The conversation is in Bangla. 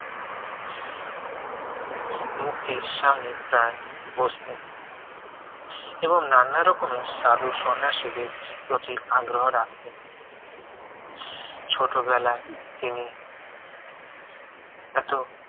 মূর্তির সামনে প্রায় বসতেন এবং নানা রকমের সাধু সন্ন্যাসীদের প্রতি আগ্রহ রাখতেন ছোটবেলায় তিনি এত